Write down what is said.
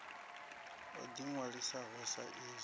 o ḓi ṅwalisaho sa izwi